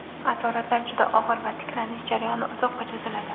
Asoratlar juda og‘ir va tiklanish jarayoni uzoqqa cho‘ziladi.